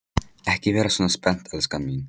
Ekki vera svona spennt, elskan mín.